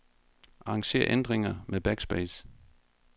Arranger ændringer med backspace.